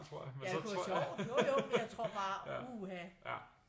Ja kunne være sjovt jo jo men jeg tror bare uha